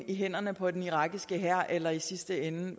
i hænderne på den irakiske hær eller i sidste ende